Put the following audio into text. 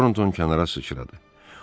Torunton kənara sıçradı.